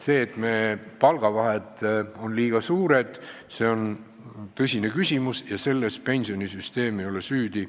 See, et meie palkade vahed on liiga suured, on tõsine küsimus, milles pensionisüsteem süüdi ei ole.